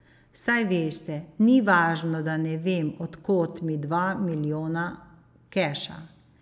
Saj veste, ni važno, da ne vem, od kod mi dva milijona keša.